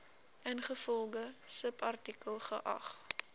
ingevolge subartikel geag